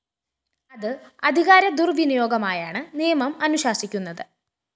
അത് അധികാര ദുര്‍വിനിയോഗമായാണ് നിയമം അനുശാസിക്കുന്നത്